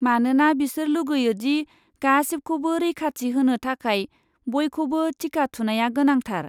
मानोना बिसोर लुगैयो दि गासिबखौबो रैखाथि होनो थाखाय बयखौबो टिका थुनाया गोनांथार।